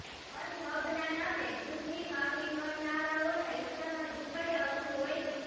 મઝહબના નામે દુઃખની વાવણી કરનારાઓના હિસ્સામાં દુઃખ જ આવતું હોય છે